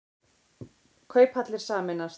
Kauphallir sameinast